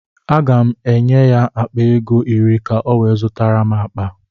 Aga m enye ya akpa ego iri ka ọ wee zụtara m akpa.